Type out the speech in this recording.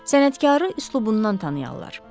Sənətkarı üslubundan tanıyırlar.